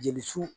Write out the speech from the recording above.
Jeli su